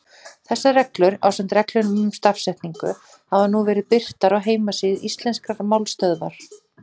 Þessar reglur, ásamt reglum um stafsetningu, hafa nú verið birtar á heimasíðu Íslenskrar málstöðvar.